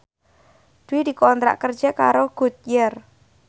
Dwi dikontrak kerja karo Goodyear